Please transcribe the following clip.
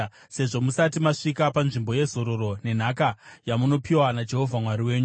sezvo musati masvika panzvimbo yezororo nenhaka yamunopiwa naJehovha Mwari wenyu.